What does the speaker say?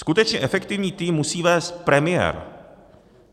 Skutečně efektivní tým musí vést premiér.